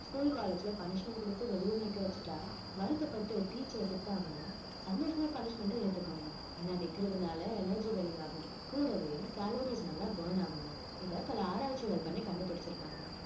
school college ல punishment கொடுத்து வெளியே நிக்க வச்சுட்டா வருத்தப்பட்டு teacher அ திட்டாம சந்தோஷமா punishment அ ஏத்துக்கோங்க ஏன்னா நிக்கிறதுனால energy வெளியாகும் கூடவே calories நல்லா burn ஆகுமாம் இதை பல ஆராய்ச்சிகள் பண்ணி கண்டுபிடிச்சிருக்காங்க